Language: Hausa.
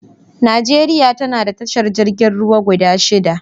Najeriya ta na da tashar jirgin ruwa guda shida.